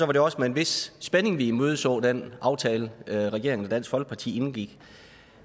var det også med en vis spænding at vi imødeså den aftale regeringen og dansk folkeparti indgik